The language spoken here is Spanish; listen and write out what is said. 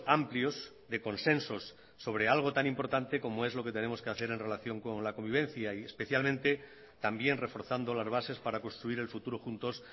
amplios de consensos sobre algo tan importante como es lo que tenemos que hacer en relación con la convivencia y especialmente también reforzando las bases para construir el futuro juntos